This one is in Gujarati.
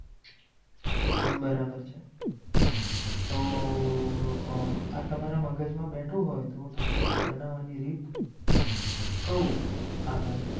બરાબર છે તો આ તમારા મગજમાં બેઠું હોય તો તમને બનાવવાની રીત આગળ